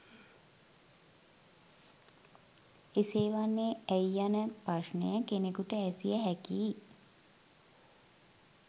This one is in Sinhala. එසේ වන්නේ ඇයි යන ප්‍රශ්නය කෙනෙකුට ඇසිය හැකියි.